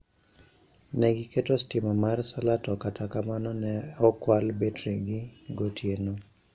Ne giketo sitima mar solar to kata kamano ne okwal betrigi gotieno.